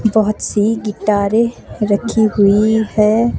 बहुत सी गिटारे रखी हुई है।